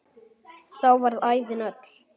Þá varð ævin öll.